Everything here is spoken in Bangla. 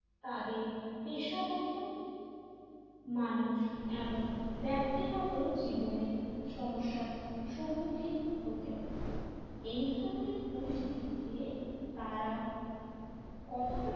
তাদের পেশাগত মানুষ এবং ব্যক্তিগত জীবনে সমস্যার সম্মুখীন হতে হয় এই ধরনের পরিস্থিতিকে তারা কতটা,